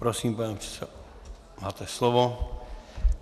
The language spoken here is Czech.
Prosím, pane předsedo, máte slovo.